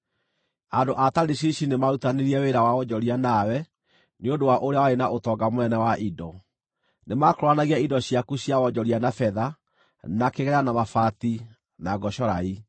“ ‘Andũ a Tarishishi nĩmarutithanirie wĩra wa wonjoria nawe nĩ ũndũ wa ũrĩa warĩ na ũtonga mũnene wa indo; nĩmakũũranagia indo ciaku cia wonjoria na betha, na kĩgera, na mabati, na ngocorai.